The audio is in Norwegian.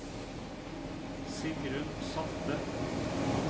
Sigrun Salte